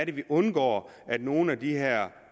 vi undgår at nogle af de her